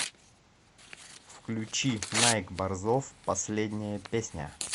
включи найк борзов последняя песня